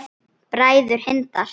Bræður Hindar